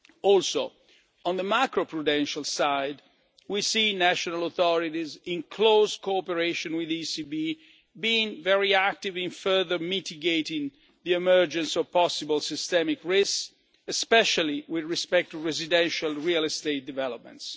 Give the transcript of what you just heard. area. Also, on the macro prudential side, we see national authorities in close cooperation with the ECB being very active in further mitigating the emergence of possible systemic risks, especially in respect of residential real estate developments.